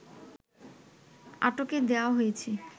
আটকে দেওয়া হয়েছে